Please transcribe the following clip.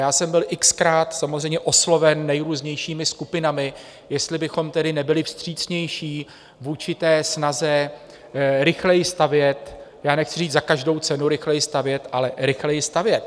Já jsem byl x-krát samozřejmě osloven nejrůznějšími skupinami, jestli bychom tedy nebyli vstřícnější vůči snaze rychleji stavět, já nechci říct za každou cenu rychleji stavět, ale rychleji stavět.